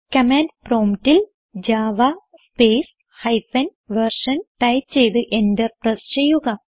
command promptൽ Java space hyphen version type ചെയ്ത് enter press ചെയ്യുക